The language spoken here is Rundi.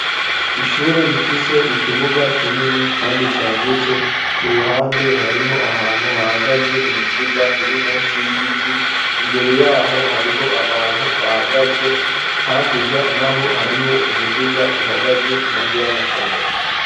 Ishure rifise ikibuga kinini kandi cagutse ku ruhande hariho ahantu hahagaze imiduga iri munsi y'igiti, imbere yaho hariho abantu bahagaze hakurya naho hariho umuduga uhagaze impande y'amasomero.